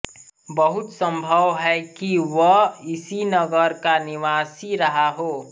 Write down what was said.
बहुत संभव है कि वह इसी नगर का निवासी रहा हो